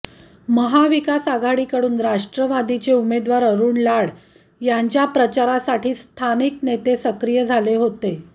महा विकास आघाडीकडून राष्ट्रवादीचे उमेदवार अरूण लाड यांच्या प्रचारासाठी स्थानिक नेते सक्रिय झाले होते